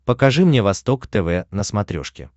покажи мне восток тв на смотрешке